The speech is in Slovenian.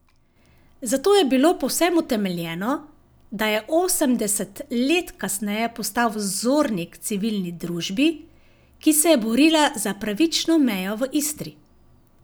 Zato je bilo povsem utemeljeno, da je osemdeset let kasneje postal vzornik Civilni družbi, ki se je borila za pravično mejo v Istri.